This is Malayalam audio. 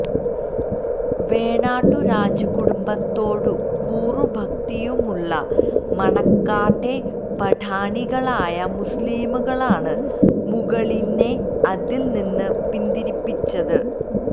വേണാട്ടു രാജകുടുംബത്തോടു കൂറും ഭക്തിയുമുള്ള മണക്കാട്ടെ പഠാണികളായ മുസ്ലീങ്ങളാണ് മുകിലനെ അതിൽ നിന്ന് പിന്തിരിപ്പിച്ചത്